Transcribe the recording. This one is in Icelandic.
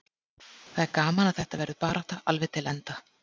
Það er gaman að þetta verður barátta alveg til enda.